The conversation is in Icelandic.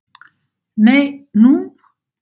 Nei, nú?